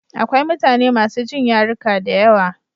Akwai mutane masu jin yaruka da yawa.